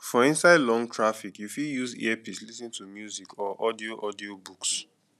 for inside long traffick you fit use earpiece lis ten to music or audio audio books